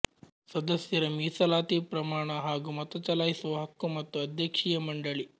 ಸದಸ್ಯರ ಮೀಸಲಾತಿ ಪ್ರಮಾಣ ಹಾಗೂ ಮತಚಲಾಯಿಸುವ ಹಕ್ಕು ಮತ್ತು ಅಧ್ಯಕ್ಷೀಯ ಮಂಡಳಿ